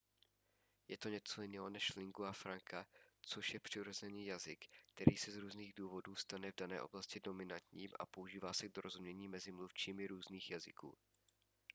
je to něco jiného než lingua franca což je přirozený jazyk který se z různých důvodů stane v dané oblasti dominantním a používá se k dorozumění mezi mluvčími různých jazyků